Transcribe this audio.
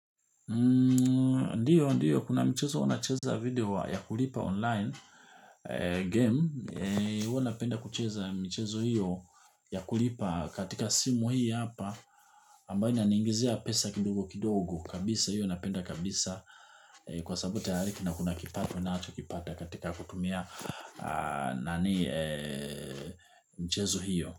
Ndiyo, ndiyo kuna mchezo wanacheza video ya kulipa online game huwa napenda kucheza mchezo hiyo ya kulipa katika simu hii hapa ambayo inaniingizia pesa kidogo kidogo kabisa hiyo napenda kabisa. Kwa sababu tayari na kuna kipato nacho kipata katika kutumia mchezo hiyo.